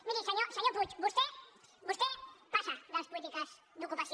miri senyor puig vostè passa de les polítiques d’ocupació